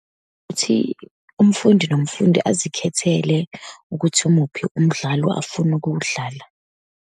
Ukuthi umfundi nomfundi azikhethele, ukuthi umuphi umdlalo afuna ukuwudlala.